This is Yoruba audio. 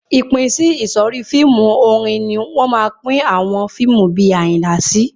Ìpínsísọ̀rí fíìmù orin ni wọ́n máa pín àwọn fíìmù bí Àyìnlá sí.